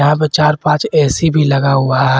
यहां पे चार पांच ए_सी भी लगा हुआ है।